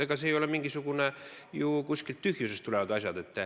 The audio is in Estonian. Ega need ei ole kuskilt tühjusest tulevad asjad.